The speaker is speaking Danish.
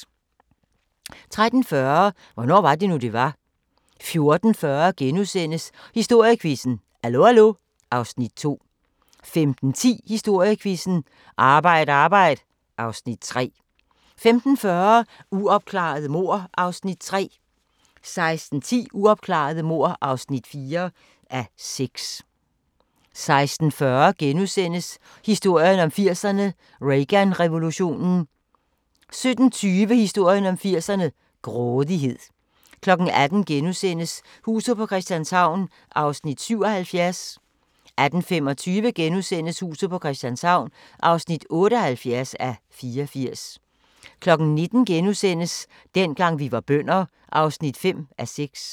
13:40: Hvornår var det nu, det var? 14:40: Historiequizzen: Hallo Hallo (Afs. 2)* 15:10: Historiequizzen: Arbejd Arbejd (Afs. 3) 15:40: Uopklarede mord (3:6) 16:10: Uopklarede mord (4:6) 16:40: Historien om 80'erne: Reagan-revolutionen * 17:20: Historien om 80'erne: Grådighed 18:00: Huset på Christianshavn (77:84)* 18:25: Huset på Christianshavn (78:84)* 19:00: Dengang vi var bønder (5:6)*